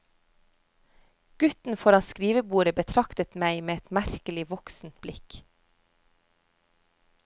Gutten foran skrivebordet betraktet meg med et merkelig voksent blikk.